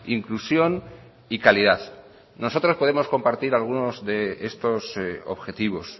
inclusión y calidad nosotros podemos compartir algunos de estos objetivos